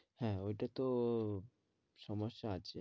হ্যাঁ ওইটা তো সমস্যা আছে